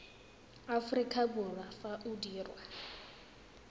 aforika borwa fa o dirwa